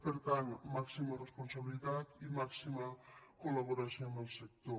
per tant màxima responsabilitat i màxima col·laboració amb el sector